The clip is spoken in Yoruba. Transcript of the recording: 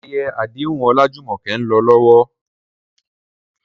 Ayẹyẹ àdéhùn Olajumoke ń lọ lọ́wọ́.